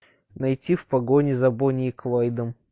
найти в погоне за бонни и клайдом